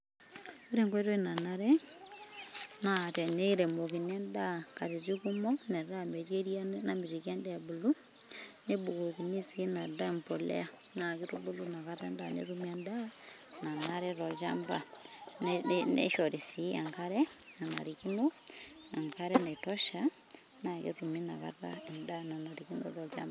ore enkoitoi nanare, na teniremokini endaa katitin kumok, meeta metii eria namitiki endaa ebulu, nebukokini si ina daa empolea, na kitubulu nakata endaa netumi endaa nanarikino tolchamba, neishori si enkare nanarikino ankare naitosha na ketumi nakata endaa nanarikino tolchamba.